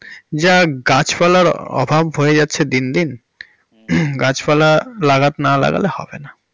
যা গাছ পালার অভাব হয়ে যাচ্ছে দিন দিন হমমম গাছ পালা লাগাতে, না লাগালে হবে না।